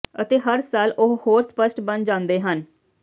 ਅਤੇ ਹਰ ਸਾਲ ਉਹ ਹੋਰ ਸਪੱਸ਼ਟ ਬਣ ਜਾਂਦੇ ਹਨ